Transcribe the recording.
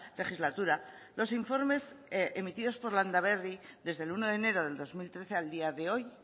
legislatura los informes emitidos por landaberri desde el uno de enero del dos mil trece al día de hoy